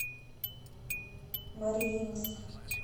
мариинск